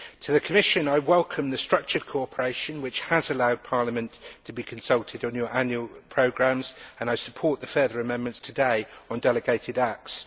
To the Commission, I welcome the structured cooperation which has allowed Parliament to be consulted on your annual programmes, and I support the further amendments today on delegated acts.